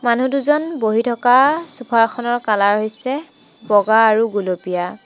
মানুহ দুজন বহি থকা চোফা ৰখনৰ কালাৰ হৈছে বগা আৰু গুলপীয়া।